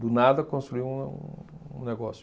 Do nada, construí um um negócio.